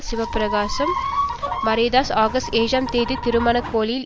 Sivaprakasam Mariyadas August ஏழாம் தேதி திருகோணமலையில்